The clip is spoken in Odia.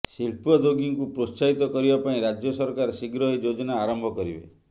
ଶିଳ୍ପଦ୍ୟୋଗୀଙ୍କୁ ପ୍ରୋତ୍ସାହିତ କରିବା ପାଇଁ ରାଜ୍ୟ ସରକାର ଶୀଘ୍ର ଏହି ଯୋଜନା ଆରମ୍ଭ କରିବେ